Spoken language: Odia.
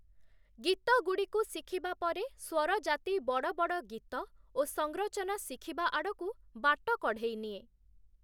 ଗୀତଗୁଡ଼ିକୁ ଶିଖିବା ପରେ, ସ୍ୱରଜାତି ବଡ଼ବଡ଼ ଗୀତ ଓ ସଂରଚନା ଶିଖିବା ଆଡକୁ ବାଟ କଢ଼େଇ ନିଏ ।